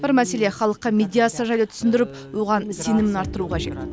бір мәселе халыққа медиация жайлы түсіндіріп оған сенімін арттыру қажет